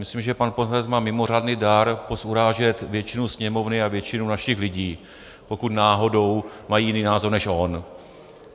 Myslím, že pan poslanec má mimořádný dar pozurážet většinu Sněmovny a většinu našich lidí, pokud náhodou mají jiný názor než on.